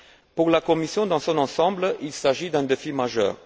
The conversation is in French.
Pour la Commission dans son ensemble, il s'agit d'un défi majeur.